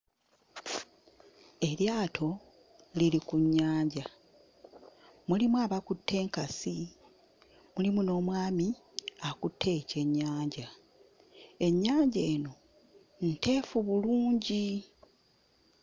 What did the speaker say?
Eryato liri ku nnyanja, mulimu abakutte enkasi mulimu n'omwami akutte ekyennyanja. Ennyanja eno nteefu bulungi.